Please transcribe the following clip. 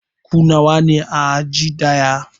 Ku nawa ne a aji ɗaya?